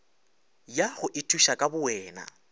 ya go ithuša ka bowena